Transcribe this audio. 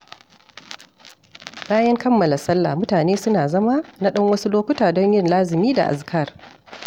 Bayan kammala salla mutane suna zama na ɗan wasu lokuta don yin lazumi da azkar.